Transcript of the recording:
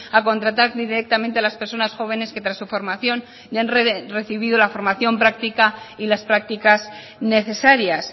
a contratar directamente a las personas jóvenes que tras su formación han recibido la formación práctica y las prácticas necesarias